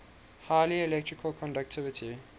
high electrical conductivity